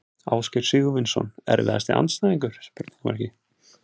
Ásgeir Sigurvinsson Erfiðasti andstæðingur?